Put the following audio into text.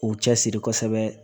K'u cɛsiri kosɛbɛ